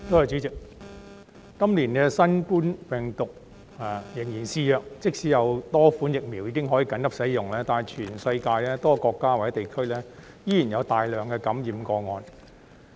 主席，今年新冠病毒仍然肆虐，即使有多款疫苗已可緊急使用，但全世界多個國家或地區依然有大量感染個案。